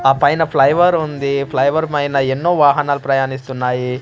ఆ పైన ఫ్లైవర్ ఉంది ఫ్లైవర్ మైన ఎన్నో వాహనాలు ప్రయాణిస్తున్నాయి.